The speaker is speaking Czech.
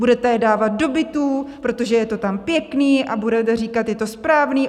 Budete je dávat do bytů, protože je to tam pěkné, a budete říkat, je to správné?